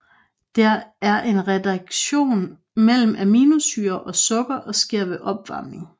Det er en reaktion mellem aminosyrer og sukker og sker ved opvarmning